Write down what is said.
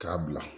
K'a bila